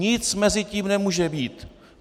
Nic mezi tím nemůže být.